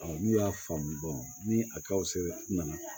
n'u y'a faamu ni a kaw se nana